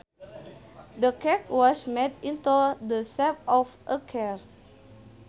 The cake was made into the shape of a car